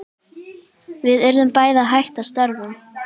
Við urðum bæði að hætta störfum.